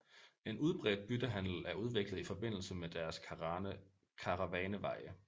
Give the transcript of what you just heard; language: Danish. En udbredt byttehandel er udviklet i forbindelse med deres karavaneveje